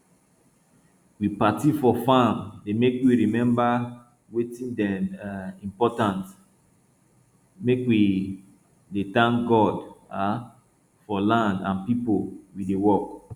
we party for farm dey make we remember wetin dey um important make we dey thank god um for land and people wey dey work